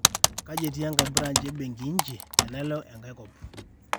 kaji etii enkae branch e benki nchi tenalo enkae kop